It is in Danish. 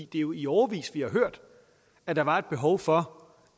det er jo i årevis vi har hørt at der var behov for